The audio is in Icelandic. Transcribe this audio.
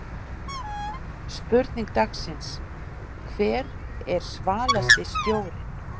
Spurning dagsins: Hver er svalasti stjórinn?